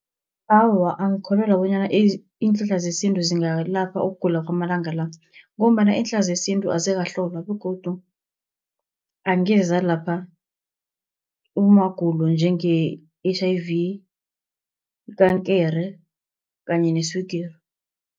Awa angikholelwa bonyana iinhlahla zesintu zingalapha ukugula kwamalanga la, ngombana iinhlahla zesintu azikahlolwa begodu angeze zalapha amagulo njenge-H_I_V, ikankere kanye neswigiri.